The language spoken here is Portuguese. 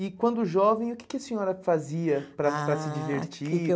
E quando jovem, o que que a senhora fazia para para se divertir. Ah, o que que eu